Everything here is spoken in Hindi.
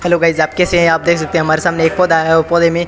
हेलो गाइस आप कैसे हैं आप देख सकते हमारे सामने एक पौधा है औ पौधे में--